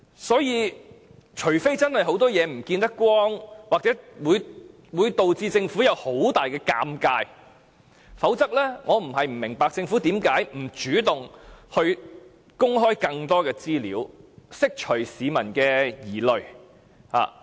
因此，除非有很多不能見光的事情，或會導致政府有很大尷尬，否則我不明白政府為何不主動公開更多資料，以釋除市民的疑慮。